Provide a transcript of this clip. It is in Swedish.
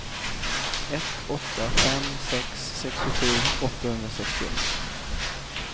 ett åtta fem sex sextiosju åttahundrasextioett